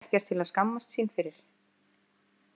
Þetta er ekkert til að skammast sín fyrir.